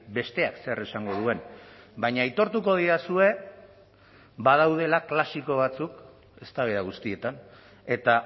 besteak zer esango duen baina aitortuko didazue badaudela klasiko batzuk eztabaida guztietan eta